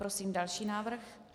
Prosím další návrh.